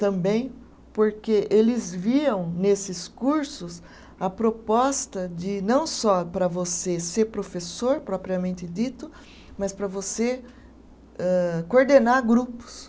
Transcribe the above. Também porque eles viam nesses cursos a proposta de não só para você ser professor, propriamente dito, mas para você âh coordenar grupos.